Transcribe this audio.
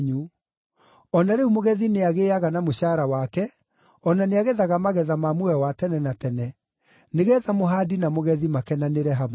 O na rĩu mũgethi nĩagĩĩaga na mũcaara wake, o na nĩagethaga magetha ma muoyo wa tene na tene, nĩgeetha mũhaandi na mũgethi makenanĩre hamwe.